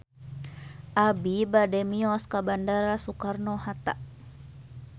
Abi bade mios ka Bandara Soekarno Hatta